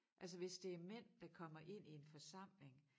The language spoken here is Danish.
Altså hvis det mænd der kommer ind i en forsamling